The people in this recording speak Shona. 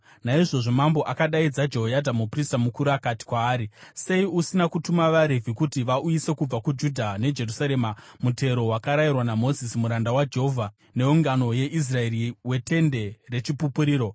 Naizvozvo mambo akadaidza Jehoyadha muprista mukuru akati kwaari, “Sei usina kutuma vaRevhi kuti vauyise kubva kuJudha neJerusarema mutero wakarayirwa naMozisi muranda waJehovha neungano yeIsraeri weTende reChipupuriro?”